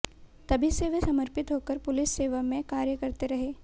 तभी से वे समर्पित होकर पुलिस सेवा में कार्य करते रहे